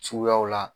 Suguyaw la